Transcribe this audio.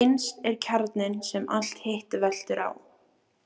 Innst er kjarninn sem allt hitt veltur á.